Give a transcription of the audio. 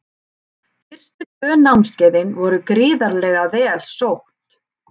Fyrstu tvö námskeiðin voru gríðarlega vel sótt.